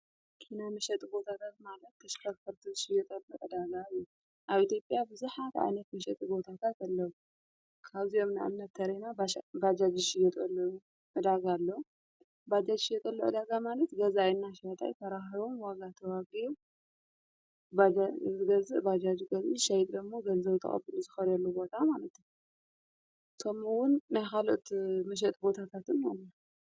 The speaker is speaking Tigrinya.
ኪና ምሸጢ ቦታታት ማለት ተሽከፈርትሽ ዮጠሚ ዕዳጋሉ ኣብ ቲጲኣ ብዝኃድ ኣእነት ምሸጥ ቦታታትኣለዉ ካውዚዮም ናእምነት ተሬና ባጃጅሽ የጠል እዳጋኣሎ ባጃጅሽ የጠሎ ዕዳጋ ማለት ገዛየና ሸጣይ ተራህሮም ወጋ ተዋጊ ዝገዝእ ባጃጅ ገልኒ ሸይትደሞ ገንዘው ጣቐብን ዝኸርሉ ቦታ ማለቶም ውን ናያ ኻሉኦት ምሸጥ ቦታታትን ኣሎ።